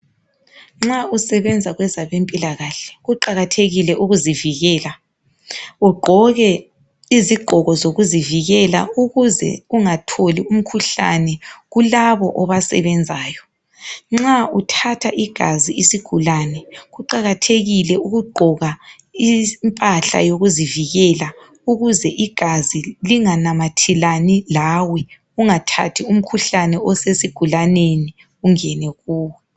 Nxa usebenza kwabezempilakahle kuqakathekile ukuzivikela. Ugqoke izigqoko zokuzivikela. Ukuze ungatholi umkhuhlane kulabo obasebenzayo. Nxa uthatha igazi isigulane, kuqakathekile ukugqoka impahla yokuzivikela. Ukuze igazi, linganamathelani lawe. Ungathathi umkhuhlane osesigulaneni, ungene kuwe.